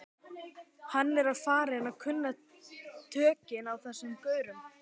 Hann er farinn að kunna tökin á þessum gaurum.